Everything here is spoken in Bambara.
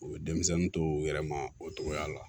U bɛ denmisɛnnin to u yɛrɛ ma o togoya la